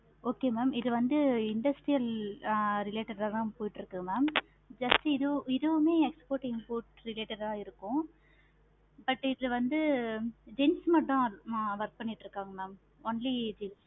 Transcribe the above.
okay mam இது வந்து ஆஹ் industrial related ஆஹ் தான் போய்கிட்டு இருக்கு mam just இதுவும் exporting import related ஆஹ் தான் இருக்கும். but இதுல வந்து gents மட்டும் தான் work பண்ணிக்கிட்டு தான் இருக்காங்க mam only